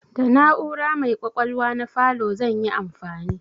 Da na'ura mai ƙwaƙwalwa na falo zan yi amfani.